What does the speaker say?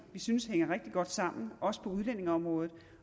vi synes hænger rigtig godt sammen også på udlændingeområdet